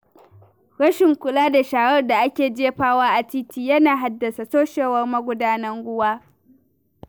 Rashin kula da sharar da ake jefawa a titi yana haddasa toshewar magudanan ruwa.